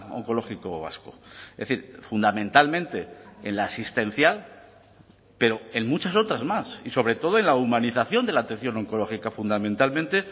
oncológico vasco es decir fundamentalmente en la asistencial pero en muchas otras más y sobre todo en la humanización de la atención oncológica fundamentalmente